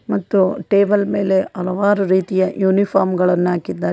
ಮತ್ತು ಟೇಬಲ್ ಮೇಲೆ ಹಲವರು ರೀತಿಯಾ ಯೂನಿಫಾರ್ಮ್ಗಳನ್ನ ಹಾಕಿದ್ದಾರೆ.